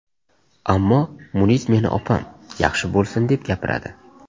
Ammo Munis meni opam, yaxshi bo‘lsin, deb gapiradi.